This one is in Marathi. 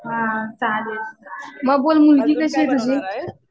हा चालेल. मग बोल मुलगी कशी आहे तुझी?